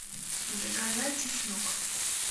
заказать чеснок